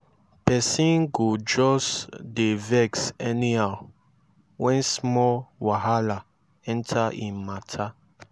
pesin go jus dey vex anyhow wen small wahala enter im mata